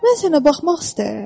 Mən sənə baxmaq istəyirəm."